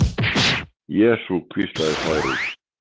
Jesú, hvíslaði Særún.